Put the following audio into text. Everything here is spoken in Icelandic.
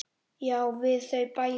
Já, við þau bæði.